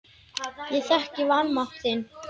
Ég þekki vanmátt þinn.